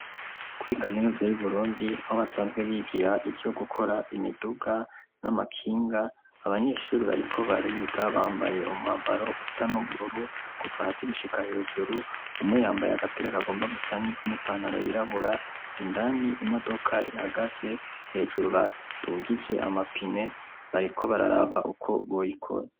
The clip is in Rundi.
Kuri kaminuza y'i Burundi aho basanzwe bigira ivyo gukora imiduga n'amakinga, abanyeshuri bariko bariga bambaye umwambaro usa n'ubururu kuva hasi gushika hejuru, umwe yambaye agapira kagomba gusa n'ivu n'ipantaro yirabura, indani imodoka ihagaze hejuru badugije amapine bariko bararaba uko boyikora.